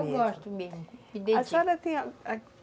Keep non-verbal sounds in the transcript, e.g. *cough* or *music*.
É, eu gosto mesmo. A senhora *unintelligible*